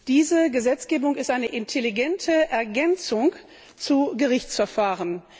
Diese Gesetzgebung ist eine intelligente Ergänzung zu Gerichtsverfahren.